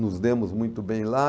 Nos demos muito bem lá.